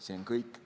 See on kõik.